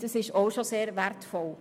Auch dies ist schon sehr wertvoll.